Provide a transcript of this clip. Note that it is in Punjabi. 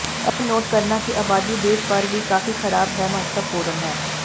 ਇਹ ਨੋਟ ਕਰਨਾ ਕਿ ਆਬਾਦੀ ਦੇਸ਼ ਭਰ ਵੀ ਕਾਫ਼ੀ ਖਰਾਬ ਹੈ ਮਹੱਤਵਪੂਰਨ ਹੈ